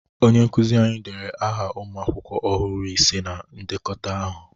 Onye nkụzị anyị dere aha ụmụ akwụkwọ ọhụrụ ise na ndekọta aha.